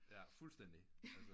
Jaer fundstændig altså